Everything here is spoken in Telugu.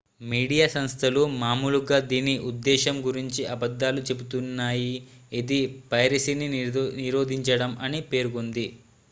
"మీడియా సంస్థలు మామూలుగా దీని ఉద్దేశ్యం గురించి అబద్ధాలు చెబుతున్నాయి ఇది "పైరసీని నిరోధించడం" అని పేర్కొంది.